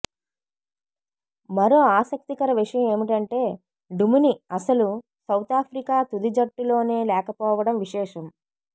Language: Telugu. మరో ఆసక్తికర విషయం ఏమిటంటే డుమిని అసలు సౌతాఫ్రికా తుది జట్టులోనే లేకపోవడం విశేషం